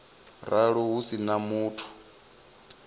ralo hu si na muthu